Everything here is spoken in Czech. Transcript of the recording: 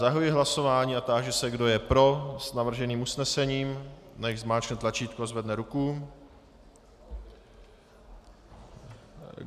Zahajuji hlasování a táži se, kdo je pro s navrženým usnesením, nechť zmáčkne tlačítko a zvedne ruku.